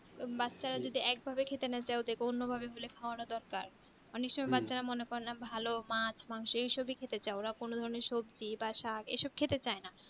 বাচ্চা রা যেটা এক ভাবে খেতে না চাই ওটাকে অন্য ভাবে গুলে খাওনো দরকার অনেক সময় বাচ্চা রা মনে করে না ভালো মাছ মাংস এই সবই খেতে চাই বা কোনো ধরণের সবজি বা শাক খেতে চাই না